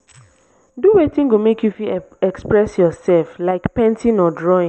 do wetin go mek yu fit express urself like painting or drawing